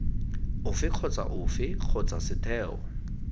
ofe kgotsa ofe kgotsa setheo